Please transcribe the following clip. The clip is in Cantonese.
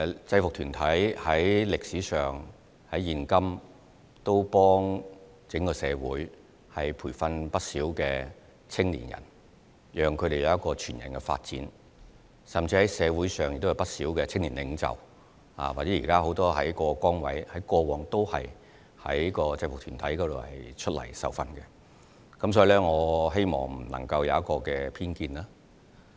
制服團體無論在歷史上或今時今日也幫助整個社會培訓不少青少年，讓他們有全人發展，甚至社會上也有不少的青年領袖，或者現時很多在各崗位上的人，過往也曾在制服團體受訓，所以，我希望他不會對此有偏見。